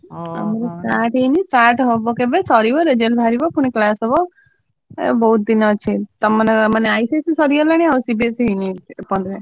Start ହେଇନି start ହବ ସରିବ result ବାହାରିବ ପୁଣି class result ଆଉ ବହୁତ ଦିନ ଏଇନା ଅଛି। ତମର ମାନେ ICSE ସରିଲାଣି CBSE ।